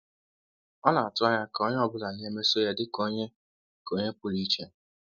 Ọ na-atụ anya ka onye ọ bụla na-emeso ya dị ka onye ka onye pụrụ iche.